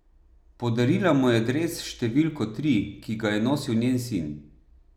Podarila mu je dres s številko tri, ki ga je nosil njen sin.